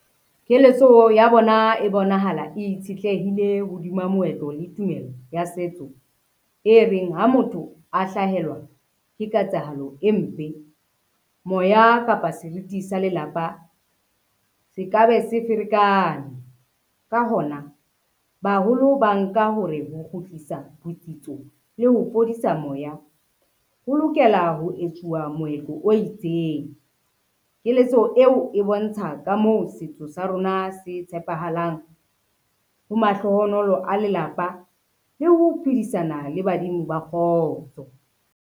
Keletso ya bona e bonahala e itshetleile hodima moetlo le tumelo ya setso, e reng ha motho a hlahelwa ke ketsahalo e mpe, moya kapa seriti sa lelapa se ka be se ferekane. Ka hona baholo ba nka hore ho kgutlisa botsitso le ho fodisa moya, ho lokela ho etsuwa moetlo o itseng. Keletso eo e bontsha ka moo setso sa rona se tshepahalang ho mahlohonolo a lelapa le ho phedisana le badimo ba kgotso.